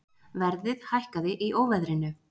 Verðið hækkaði í óveðrinu